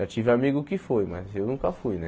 Já tive amigo que foi, mas eu nunca fui, né?